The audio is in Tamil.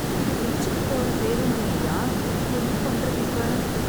இது திருச்சிப் போகுற பேருந்து இல்லையா, என்ன பண்றது இப்ப?